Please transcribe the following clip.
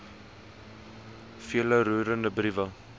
vele roerende briewe